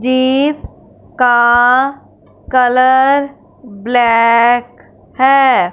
Jeeps का colour black है।